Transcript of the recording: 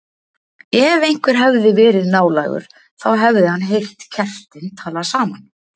Ef einhver hefði verið nálægur þá hefði hann heyrt kertin tala saman.